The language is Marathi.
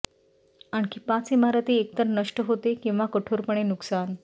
आणखी पाच इमारती एकतर नष्ट होते किंवा कठोरपणे नुकसान